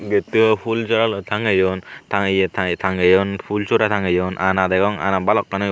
gettu o phul jora loi tangeyiun tanggeye tanggeye tangeyiun phul sora tangeyiun ana degong ana balokani.